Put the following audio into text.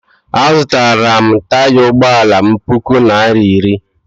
Azụtara m taya ụgbọala m puku naira iri